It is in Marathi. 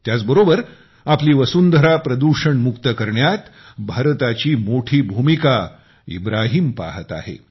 त्याच बरोबर आपली वसुंधरा प्रदूषण मुक्त करण्यात भारताची मोठी भूमिका इब्राहीम पाहत आहे